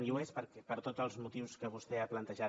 i ho és per tots els motius que vostè ha plantejat